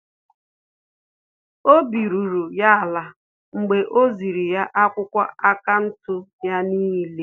Obi ruru ya ala mgbe o ziri ya akwụkwọ akaụntụ ya n'ile